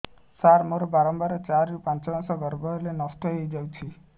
ସାର ମୋର ବାରମ୍ବାର ଚାରି ରୁ ପାଞ୍ଚ ମାସ ଗର୍ଭ ହେଲେ ନଷ୍ଟ ହଇଯାଉଛି